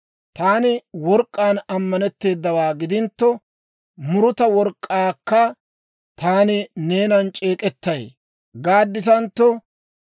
«Taani work'k'aan ammanetteedawaa gidintto, Muruta work'k'aakka, ‹Taani neenan c'eek'ettay› gaadditantto,